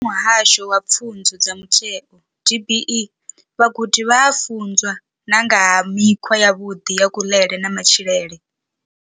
Vha Muhasho wa Pfunzo dza Mutheo DBE, vhagudi vha a funzwa na nga ha mikhwa yavhuḓi ya kuḽele na matshilele.